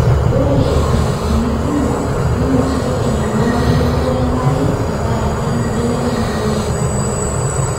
ore ilkijijini kumok nenotito enyamali erukore enkare tenkaraki enkibelekenyata olingange.